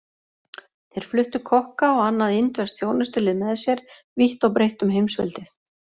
Þeir fluttu kokka og annað indverskt þjónustulið með sér vítt og breitt um heimsveldið.